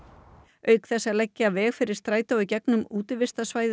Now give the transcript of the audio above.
auk þess að leggja veg fyrir strætó í gegnum útivistarsvæðið